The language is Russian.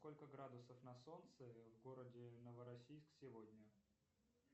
сколько градусов на солнце в городе новороссийск сегодня